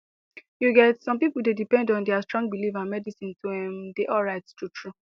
you get some people dey depend on their strong belief and medicine to ehm dey alright truetrue